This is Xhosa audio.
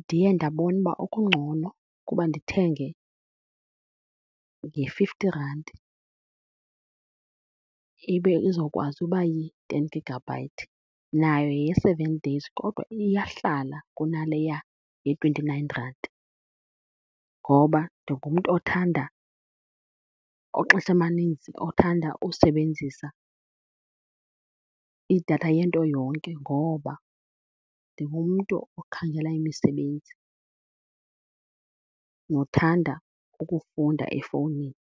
Ndiye ndabona uba okungcono kuba ndithenge nge-fifty rand ibe izokwazi uba yi-ten gigabyte, nayo yeye-seven days kodwa iyahlala kunaleya ye-twenty-nine rand. Ngoba ndingumntu othanda, oxesha amaninzi othanda usebenzisa idatha yento yonke ngoba ndingumntu okhangela imisebenzi nothanda ukufunda efowunini.